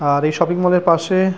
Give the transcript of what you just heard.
আর এই শপিং মলের পাশে--